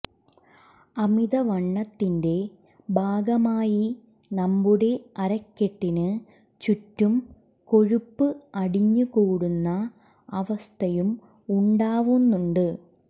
അമിതവണ്ണത്തിന്റെ ഭാഗമായി നമ്മുടെ അരക്കെട്ടിന് ചുറ്റും കൊഴുപ്പ് അടിഞ്ഞ് കൂടുന്ന അവസ്ഥയും ഉണ്ടാവുന്നുണ്ട്